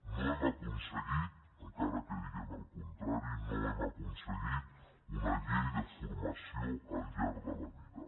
no hem aconseguit encara que diguem el contrari una llei de formació al llarg de la vida